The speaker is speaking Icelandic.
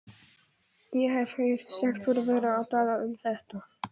Ég hef heyrt stelpur vera að tala um þetta.